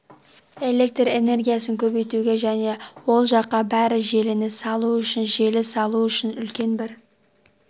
электр энергиясын көбейтуге және ол жаққа бір желіні салу үшін желі салу үшін үлкен бір